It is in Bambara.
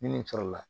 Ni nin sɔrɔ la